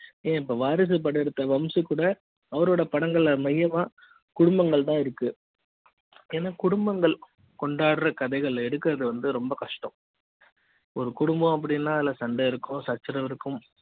ஏன் இப்ப வாரிசு படம் எடுத்த வம்சி கூட அவரோட படங்கள்மையமா குடும்பங்கள் தான் இருக்கு குடும்பங்கள் தான் இருக்கு கொண்டாடுற கதைகள் எடுக்குறது வந்து ரொம்ப கஷ்டம் ஒரு குடும்பம் அப்படி ன்னா இல்ல சண்டை இருக்கும் சச்சரவு இருக்கும்